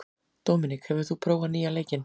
Dominik, hefur þú prófað nýja leikinn?